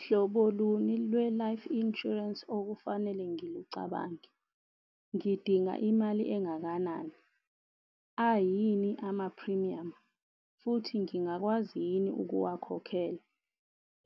Hlobo luni lwe-life insurance okufanele ngilicabange, ngidinga imali engakanani, ayini ama-premium, futhi ngingakwazi yini ukuwakhokhela,